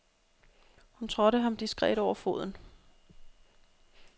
Hun trådte ham diskret over foden.